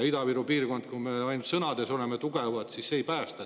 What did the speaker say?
Ida-Virumaad see, kui me ainult sõnades oleme tugevad, ei päästa.